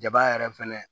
Jaba yɛrɛ fɛnɛ